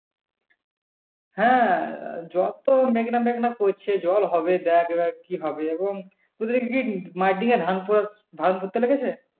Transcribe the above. হ্যাঁ জল তো মেঘলা মেঘলা মেঘলা করছে। জল হবে দেখ এবার কি হবে? এবং তোদের কি মাটিঙ্গে ধান কুড়াচ্ছে? ধান পুততে লেগেছে।